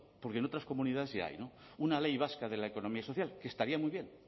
porque en otras comunidades ya hay no una ley vasca de la economía social que estaría muy bien